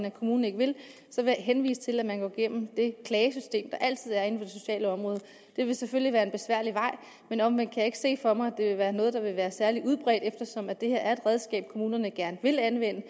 og kommunen ikke vil så vil jeg henvise til at man kan gå gennem det klagesystem der altid er inden for det sociale område det vil selvfølgelig være en besværlig vej men omvendt kan jeg ikke se for mig at det vil være noget der vil være særlig udbredt eftersom det her er et redskab som kommunerne gerne vil anvende